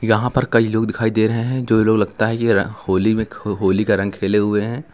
यहां पर कई लोग दिखाई दे रहे हैं जो लोग लगता है यह होली में होली का रंग खेले हुए हैं।